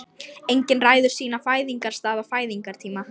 Enginn ræður sínum fæðingarstað og fæðingartíma.